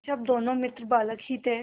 जब दोनों मित्र बालक ही थे